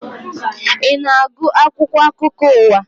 Ị na-agụ akwụkwọ akụkọ ụwa?